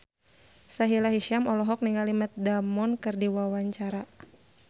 Sahila Hisyam olohok ningali Matt Damon keur diwawancara